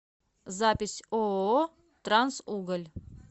запись ооо трансуголь